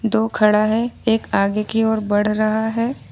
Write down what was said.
तो खड़ा है एक आगे की ओर बढ़ रहा है।